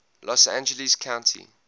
los angeles county